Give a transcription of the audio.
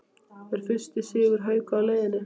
ER FYRSTI SIGUR HAUKA Á LEIÐINNI???